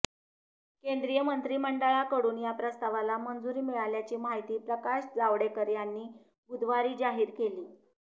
केंद्रीय मंत्रिमंडळाकडून या प्रस्तावाला मंजुरी मिळाल्याची माहिती प्रकाश जावडेकर यांनी बुधवारी जाहीर केली